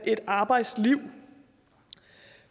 et arbejdsliv